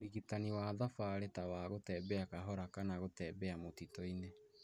Ũrigitani wa thabarĩ ta gũtembea kahora kana gũtembea mũtitũ-inĩ